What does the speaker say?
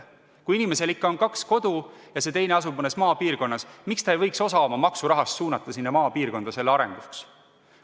Kui inimesel ikka on kaks kodu ja see teine asub maapiirkonnas, siis miks ta ei võiks osa oma maksurahast suunata selle maapiirkonna arenguks?